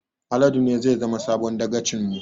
Haladu ne zai zama sabon dagacin mu